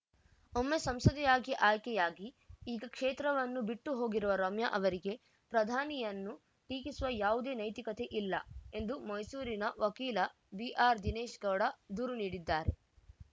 ಒಮ್ಮೆ ಸಂಸದೆಯಾಗಿ ಆಯ್ಕೆಯಾಗಿ ಈಗ ಕ್ಷೇತ್ರವನ್ನೂ ಬಿಟ್ಟುಹೋಗಿರುವ ರಮ್ಯಾ ಅವರಿಗೆ ಪ್ರಧಾನಿಯನ್ನು ಟೀಕಿಸುವ ಯಾವುದೇ ನೈತಿಕತೆ ಇಲ್ಲ ಎಂದು ಮೈಸೂರಿನ ವಕೀಲ ಬಿಆರ್‌ ದಿನೇಶ್‌ ಗೌಡ ದೂರು ನೀಡಿದ್ದಾರೆ